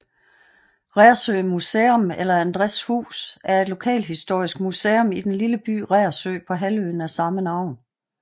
Reersø Museum eller Andræjs hus er et lokalhistorisk museum i den lille by Reersø på halvøen af samme navn